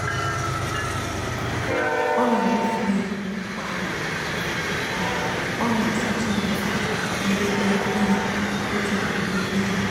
o n'awufu uyi kwa abali ma o n'asachi ihe ndebe uyi otu ugbo n' ime izuuka